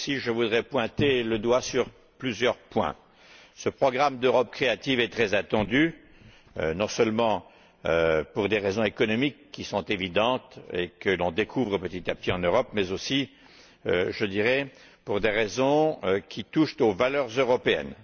Je voudrais mettre le doigt sur plusieurs points. Ce programme d'Europe créative est très attendu, non seulement pour des raisons économiques qui sont évidentes et que l'on découvre petit à petit en Europe, mais aussi pour des raisons qui touchent aux valeurs européennes.